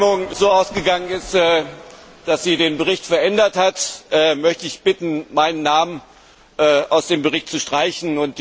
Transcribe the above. Da die Abstimmung so ausgegangen ist, dass sie den Bericht verändert hat, möchte ich darum bitten, meinen Namen aus dem Bericht zu streichen.